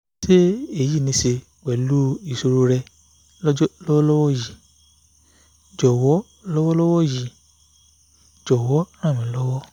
ṣé èyí ní í ṣe pẹ̀lú ìṣòro rẹ̀ lọ́wọ́lọ́wọ́ yìí jọ̀wọ́ lọ́wọ́lọ́wọ́ yìí jọ̀wọ́ ràn mí lọ́wọ́